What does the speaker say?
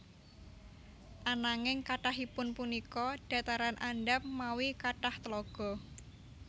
Ananging kathahipun punika dhataran andhap mawi kathah tlaga